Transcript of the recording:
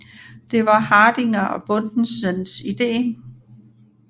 Det var Hardinger og Bundensens ide